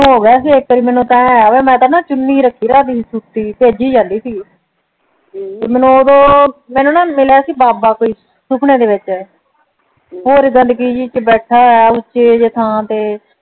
ਹੋ ਗਿਆ ਮੈਂ ਨਾ ਚੁੰਨੀ ਰੱਖਦੀ ਹੁੰਦੀ ਸੀ ਸੁੱਤੀ ਭੇਜ ਹੀ ਜਾਂਦੀ ਸੀ ਮੈਂਨੂੰ ਉਸੋ ਮੈਂਨੂੰ ਨਾ ਮਿਲੇਂ ਸੀ ਬਾਬਾ ਕੋਈ ਸੁਪਨੇ ਦੇ ਵਿੱਚ ਓ ਤੇ ਬੈਠਾ ਹੋਆ ਉੱਚੀ ਜੀ ਥਾਂ ਤੇ